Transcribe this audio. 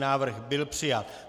Návrh byl přijat.